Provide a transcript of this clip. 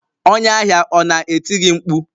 Onye ahịa ọ na-eti gị mkpu?